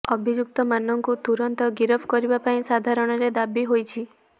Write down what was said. ଅଭିଯୁକ୍ତମାନଙ୍କୁ ତୁରନ୍ତ ଗିରଫ କରିବା ପାଇଁ ସାଧାରଣରେ ଦାବି ହୋଇଛି